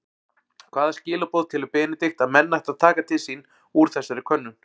Hvaða skilaboð telur Benedikt að menn ættu að taka til sín úr þessari könnun?